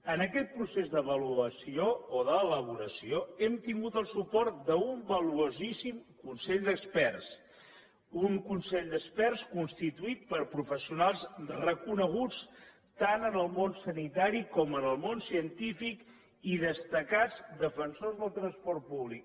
en aquest procés d’avaluació o d’elaboració hem tingut el suport d’un valuosíssim consell d’experts un consell d’experts constituït per professionals reconeguts tant en el món sanitari com en el món científic i destacats defensors del transport públic